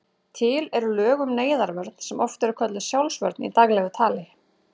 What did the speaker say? Til eru lög um neyðarvörn sem oft er kölluð sjálfsvörn í daglegu tali.